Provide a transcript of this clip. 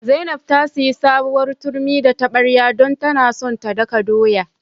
Zainab ta sayi sabuwar turmi da tabarya don tana son ta daka doya.